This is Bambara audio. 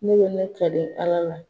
Ne be ne kale Ala la